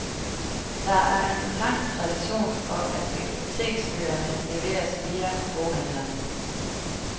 Der er en lang tradition for, at biblioteksbøgerne leveres via boghandlerne.